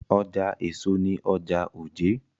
Ọjà èso ni ọjà òjé.